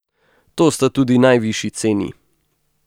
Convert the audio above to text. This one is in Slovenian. To sta tudi najvišji ceni.